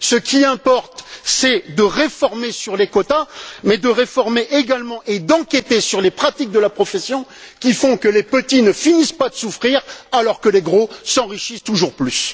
Ce qui importe, c'est de réformer les quotas, mais également de réformer et d'examiner les pratiques de la profession qui font que les petits ne finissent pas de souffrir alors que les gros s'enrichissent toujours plus!